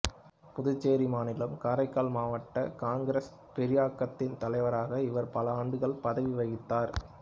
புதுச்சேரி மாநிலம் காரைக்கால் மாவட்ட காங்கிரஸ் பேரியக்கத்தின் தலைவராக இவர் பல ஆண்டுகள் பதவி வகித்தார்